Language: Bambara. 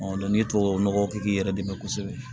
n'i ye tubabu nɔgɔ kɛ k'i yɛrɛ dɛmɛ kosɛbɛ